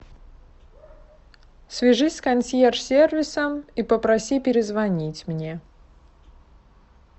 свяжись с консьерж сервисом и попроси перезвонить мне